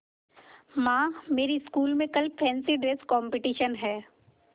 माँ मेरी स्कूल में कल फैंसी ड्रेस कॉम्पिटिशन है